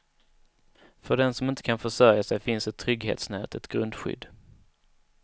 För den som inte kan försörja sig finns ett trygghetsnät, ett grundskydd.